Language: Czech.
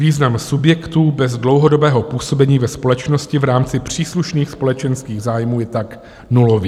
Význam subjektů bez dlouhodobého působení ve společnosti v rámci příslušných společenských zájmů je tak nulový."